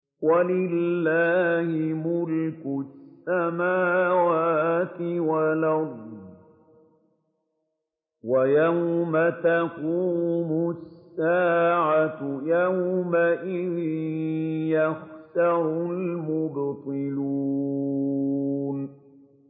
وَلِلَّهِ مُلْكُ السَّمَاوَاتِ وَالْأَرْضِ ۚ وَيَوْمَ تَقُومُ السَّاعَةُ يَوْمَئِذٍ يَخْسَرُ الْمُبْطِلُونَ